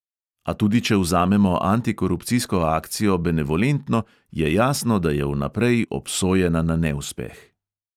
A tudi če vzamemo antikorupcijsko akcijo benevolentno, je jasno, da je vnaprej obsojena na neuspeh.